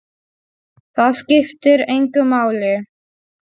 Það skiptir engu máli.